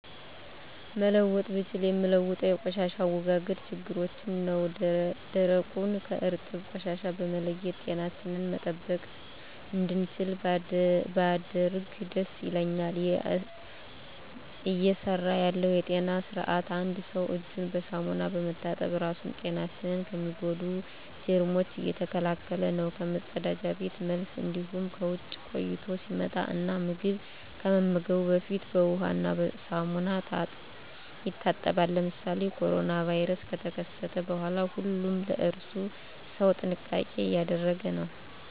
መለወጥ ብችል ምለውጠው የቆሻሻ አወጋገድ ችግራችን ነው ደረቁን ከእርጥብ ቆሻሻ በመለየት ጤናችንን መጠበቅ እንድችል ባደርግ ደስ ይለኛል። እየሰራ ያለው የጤና ስርአት አንድ ሰው እጁን በሳሙና በመታጠብ ራሱን ጤናችን ከሚጎዱ ጀርሞች እየተከላከለ ነው ከመፀዳጃ ቤት መልስ እንዲሁም ከውጭ ቆይቶ ሲመጣ እና ምግብ ከመመገቡ በፊት በውሃ እና ሳሙና ይታጠባል። ለምሳሌ ኮሮና ቫይረስ ከተከሰተ በኋላ ሁሉም ለእራሱ ሰው ጥንቃቄ እያደረገ ነው።